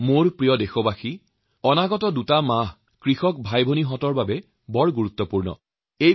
মোৰ শ্ৰ্দ্বাৰ দেশবাসী অহা কেইটামান মাহ কৃষক ভাইভনীসকলৰ বাবে যথেষ্ট গুৰুত্বপূৰ্ণ হৈ উঠিব